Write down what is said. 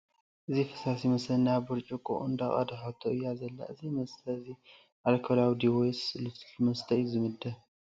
እዚ ፈሳሲ መስተ ናብ ብርጭቆ እንዳቀደሐቶ እያ ዘላ :: እዚ መስተ እዘይ ኣልኮላዊ ድዩ ወይስ ልስሉስ መስተ እ ዩ ዝምደብ ?